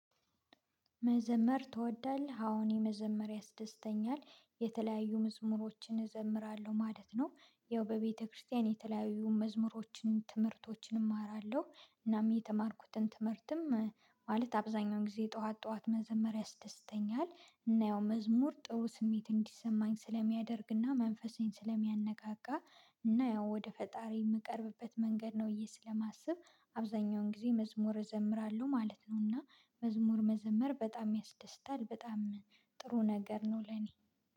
መዘመር ትወዳለህ? አዎ እኔ መዘመር ያስደስተኛል የተለያዩ መዝሙሮችን እዘምራለሁ ማለት ነው። ያው በቤተክርስቲያን የተለያዩ መዝሙሮችን ትምህርቶችን እማራለሁ እናም የተማርኩትን ትምህርትም ማለት አብዛኛውን ጊዜ ጠዋት ጠዋት መዘመር ያስደስተኛል እና ያው መዝሙር ጥሩ ስሜት እንዲሰማኝ ስለሚያደርግና መንፈሴን ስለሚያነቃቃ። እና ያው ወደ ፈጣሪ የምቀርብበት መንገድ ነው እዬ ስለማስብ። አብዛኛውን ጊዜ መዝሙር እዘምራለሁ ማለት ነው። እና መዝሙር መዘመር በጣም ያስደስታል በጣም ጥሩ ነገር ነው። ለኔ